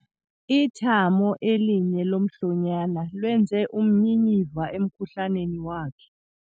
Ithamo elinye lomhlonyane lwenze umnyinyiva emkhuhlaneni wakhe.